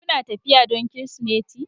Kuna tafiya don Kirsimeti?